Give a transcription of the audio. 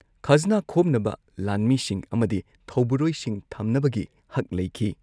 ꯈꯖꯅꯥ ꯈꯣꯝꯅꯕ ꯂꯥꯟꯃꯤꯁꯤꯡ ꯑꯃꯗꯤ ꯊꯧꯕꯨꯔꯣꯢꯁꯤꯡ ꯊꯝꯅꯕꯒꯤ ꯍꯛ ꯂꯩꯈꯤ꯫